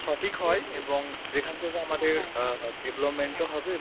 সঠিক হয় এবং যেখান থেকে আমাদের আহ development ও হবে